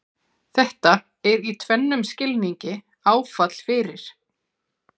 Þetta er í tvennum skilningi áfall fyrir